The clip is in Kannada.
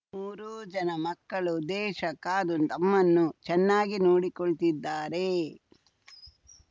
ಮೂರೂ ಜನ ಮಕ್ಕಳು ದೇಶ ಕಾದು ನಮ್ಮನ್ನೂ ಚೆನ್ನಾಗಿ ನೋಡಿಕೊಳ್ತಿದ್ದಾರೆ